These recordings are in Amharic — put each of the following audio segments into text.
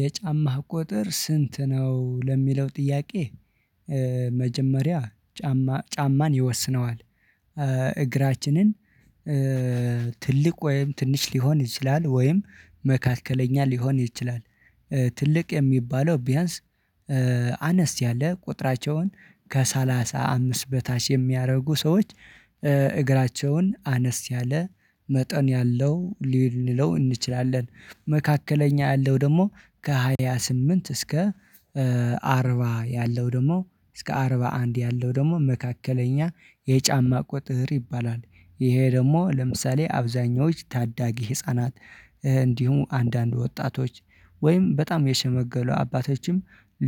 የጫማህ ቁጥር ስንት ነው? ለሚለው ጥያቄ መጀመሪያ ጫማ ጫማን ይወስነዋል። እግራችንን ትልቅ ወይም ትንሽ ሊሆን ይችላል ወይም መካከለኛ ሊሆን ይችላል። ትልቅ የሚባለው ቢያንስ አነስ ያለ ቁጥራቸውን ከሰላሳ አምስት በታች የሚያደርጉ ሰዎች እግራቸውን አነስ ያለ መጠን ያለው ልንለው እንችላለን። መካከለኛ ያለው ደግሞ ከሃያ ስምንት እስከ አርባ ያለው ደግሞ እስከ አርባ አንድ ያለው ደግሞ መካከለኛ የጫማ ቁጥር ይባላል። ይሄ ደግሞ ለምሳሌ አብዛኞች ታዳጊ ህፃናት እንዲሁም አንዳንድ ወጣቶች ወይም በጣም የሸመገለ አባቶችም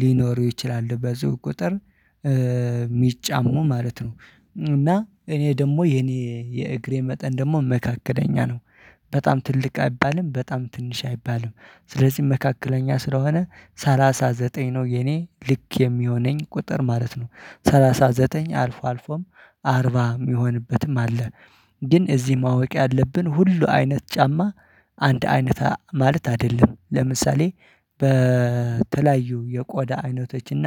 ሊኖሩ ይችላሉ በዚህ ቁጥር የሚጫሙ ማለት ነው። እና እኔ ደግሞ የኔ የእግሬ መጠን ደግሞ መካከለኛ ነው። በጣም ትልቅ አይባልም በጣም ትንሽ አይባልም ስለዚህ መካከለኛ ስለሆነ ሰላሳ ዘጠኝ ነው የኔ ልክ የሚሆነኝ ቁጥር ማለት ነው። ሰላሳ ዘጠኝ አልፎ አልፎም አርባ የሚሆንበትም አለ። ግን እዚህ ማወቅ ያለብን ሁሉ አይነት ጫማ አንድ አይነት ማለት አይደለም። ለምሳሌ በተለያዩ የቆዳ አይነቶችና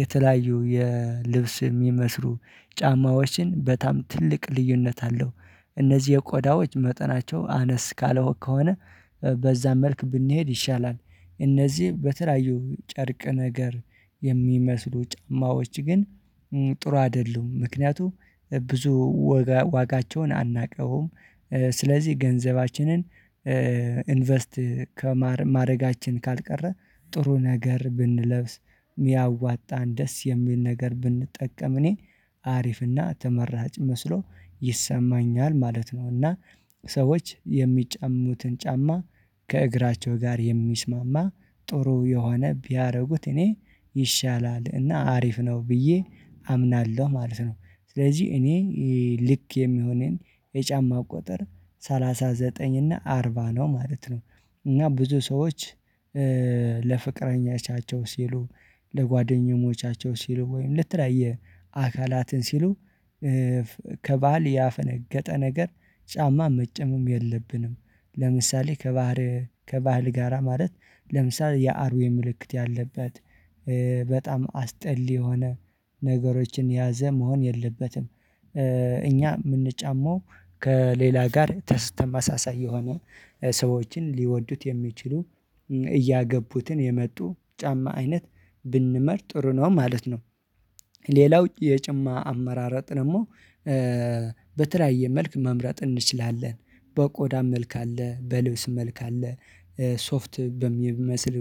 የተለያዩ የልብስ የሚመስሉ ጫማዎችን በጣም ትልቅ ልዩነት አለው። እነዚህ የቆዳዎች መጠናቸው አነስ ካለው ከሆነ በዛም መልክ ብንሄድ ይሻላል። እነዚህ በተለያየ ጨርቅ ነገር የሚመስሉ ጫማዎች ግን ጥሩ አይደሉም ምክንያቱም ብዙ ዋጋቸውን አናውቀውም። ስለዚህ ገንዘባችንን ኢንቨስት ከማድረጋችን ካልቀረ ጥሩ ነገር ብንለብስ የሚያዋጣን ደስ የሚል ነገር ብንጠቀም እኔ አሪፍና ተመራጭ መስሎ ይሰማኛል ማለት ነው። እና ሰዎች የሚጫሙትን ጫማ ከእግራቸው ጋር የሚስማማ ጥሩ የሆነ ቢያደርጉት እኔ ይሻላል እና አሪፍ ነው ብዬ አምናለሁ ማለት ነው። ስለዚህ እኔ ልክ የሚሆነኝ የጫማ ቁጥር ሰላሳ ዘጠኝ እና አርባ ነው ማለት ነው። እና ብዙ ሰዎች ለፍቅረኞቻቸው ሲሉ ለጓደኞቻቸው ሲሉ ወይም ለተለያየ አካላትን ሲሉ ከባህል ያፈነገጠ ነገር ጫማ መጨመም የለብንም። ለምሳሌ ከባህር ከባህል ጋራ ማለት ለምሳሌ የአውሬ ምልክት ያለበት በጣም አስጠሊ የሆነ ነገሮችን ያዘ መሆን የለበትም። እኛ የምንጫመው ከሌላ ጋር ተማሳሳይ የሆኑ ሰዎችን ሊወዱት የሚችሉ እያገቡትን የመጡ ጫማ አይነት ብንመርጥ ጥሩ ነው ማለት ነው። ሌላው የጫማ አመራረጥ ደግሞ በተለያየ መልኩ መምረጥ እንችላለን። በቆዳ መልክ አለ በልብስ መልክ አለ። ሶፍት በሚመስሉ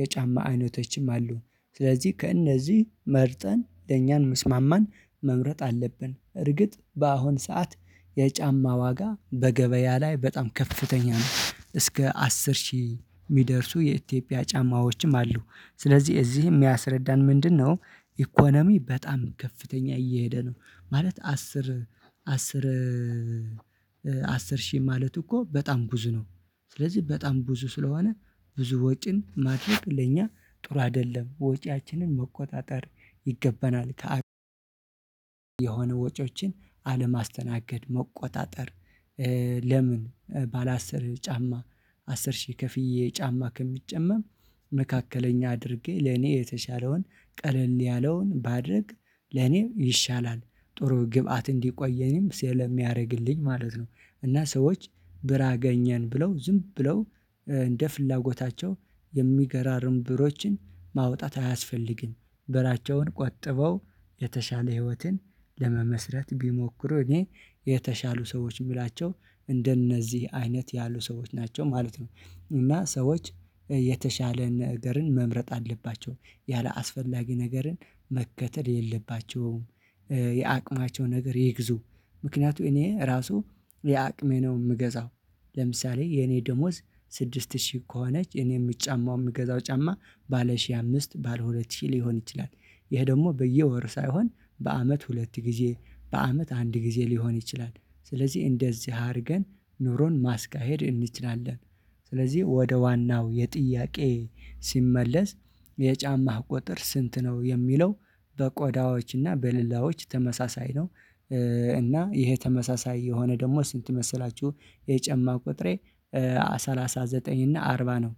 የጫማ አይነቶችም አሉ። ስለዚህ ከእነዚህ መርጠን ለእኛን ሚስማማን መምረጥ አለብን። እርግጥ በአሁን ሰዓት የጫማ ዋጋ በገበያ ላይ በጣም ከፍተኛ ነው እስከ አስር ሺህ የሚደርሱ የኢትዮጵያ ጫማዎችም አሉ። ስለዚህ እዚህ የሚያስረዳን ምንድነው? ኢኮኖሚ በጣም ከፍተኛ እየሄደ ነው። ማለት አስር አስር ሺህ ማለት እኮ በጣም ብዙ ነው። ስለዚህ በጣም ብዙ ስለሆነ ብዙ ወጪን ማድረግ ለእኛ ጥሩ አይደለም ወጪያችንን መቆጣጠር ይገባናል። ከአብዛኛው ወጪዎችን አለማስተናገድ መቆጣጠር ለምን ባለ አስር ብር ጫማ አስር ሺህ ከፍዬ ጫማ ከሚጨመም መካከለኛ አድርጌ ለኔ የተሻለውን ቀለል ያለውን ባድረግ ለኔም ይሻላል ጥሩ ግብአት እንዲቆየኝም ስለሚያደርግልኝ ማለት ነው። እና ሰዎች ብር አገኘን ብለው ዝም ብለው እንደ ፍላጎታቸው የሚገራርም ብሮችን ማውጣት አያስፈልግም። ብራቸውን ቆጥበው የተሻለ ህይወትን ለመመስረት ቢሞክሩ እኔ የተሻሉ ሰዎች የምላቸው እንደነዚህ አይነት ያሉ ሰዎች ናቸው ማለት ነው። እና ሰዎች የተሻለ ነገርን መምረጥ አለባቸው ያላስፈላጊ ነገርን መከተል የለባቸውም። የአቅማቸው ነገር ይግዙ ምክንያቱም እኔ ራሱ የአቅሜን ነው የምገዛው። ለምሳሌ የኔ ደሞዝ ስድስት ሺህ ከሆነች እኔ የምጫማው የምገዛው ጫማ ባለ ሺህ አምስት ባለ ሁለት ሺህ ሊሆን ይችላል። ይሄ ደግሞ በየወር ሳይሆን በአመት ሁለት ጊዜ በአመት አንድ ጊዜ ሊሆን ይችላል። ስለዚህ እንደዚህ አድርገን ኑሮን ማስካሄድ እንችላለን። ስለዚህ ወደ ዋናው የጥያቄ ሲመለስ የጫማህ ቁጥር ስንት ነው የሚለው? በቆዳዎች እና በሌላዎች ተመሳሳይ ነው። እና ይሄ ተመሳሳይ የሆነ ደግሞ ስንት መሰላችሁ? የጨማ ቁጥሬ ሰላሳ ዘጠኝ እና አርባ ነው